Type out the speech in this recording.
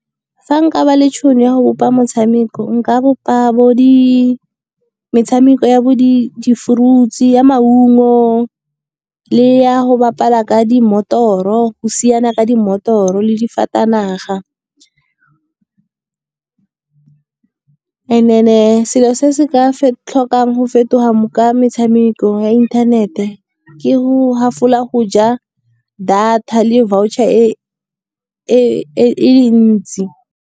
Fa nka ba le tšhono ya go bopa motshameko nka bopa metshameko ya bo di-fruits ya maungo, le ya go bapala ka dimotoro, go siana ka di motoro, le di fatanaga. And then-e selo se se ka tlhokang go fetoga ka metshameko ya internet-e ke go half-ola go ja data le voucher e ntsi.